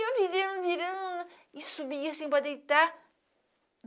E eu virei, virando e subia sem poder deitar.